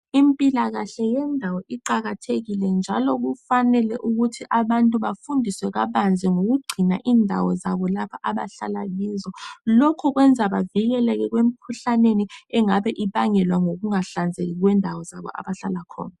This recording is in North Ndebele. Impilakahle yendawo iqakathekile njalo kufanele ukuthi abantu bafundiswe kabanzi ngokugcina indawo zabo lapha abahlala kizo. Lokhu kwenza bavikeleke emkhuhlaneni engabe ibangelwa ngokunga hlanzeki kwendawo zabo abahlala khona.